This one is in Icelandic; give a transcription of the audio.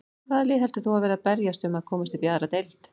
Hvaða lið heldur þú að verði að berjast um að komast upp í aðra deild?